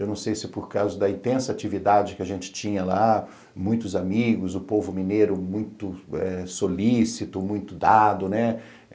Eu não sei se é por causa da intensa atividade que a gente tinha lá, muitos amigos, o povo mineiro muito solícito, muito dado, né?